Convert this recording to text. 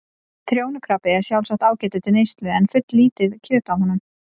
Trjónukrabbi er sjálfsagt ágætur til neyslu en fulllítið kjöt á honum.